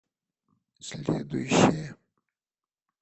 следующая